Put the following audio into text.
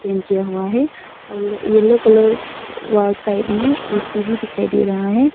किया हुआ है और येलो कलर वॉल साइड में ए_सी भी दिखाई दे रहा है।